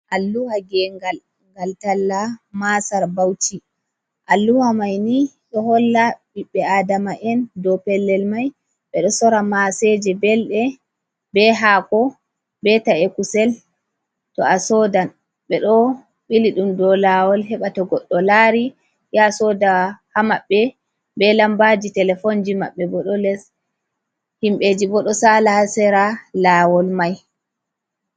Alluha gengal gal talla masar bauci, alluha mai ni do holla ɓiɓɓe adama'en do pellel mai be do sora maseje belde be hako be ta’e kusel , to a sodan be do ɓili dum do lawol heɓata goɗɗo lari ya soda ha maɓɓe, be lambaji telefonji mabɓe bodo les, himbeji bo do sala hasera lawol mai.